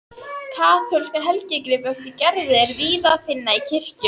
Kaþólska helgigripi eftir Gerði er víða að finna í kirkjum.